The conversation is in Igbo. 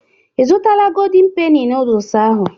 Ị zụtala Goldin Peni nooduls ahụ?